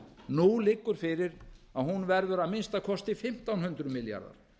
nú liggur fyrir að hún verður að minnsta kosti fimmtán hundruð milljarðar